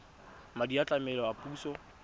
madi a tlamelo a puso